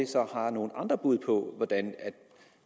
så har nogle andre bud på hvordan